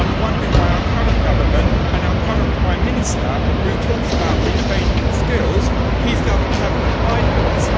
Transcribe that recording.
I am wondering why our current government and our current Prime Minister, who talks about retraining and skills, have not applied for this.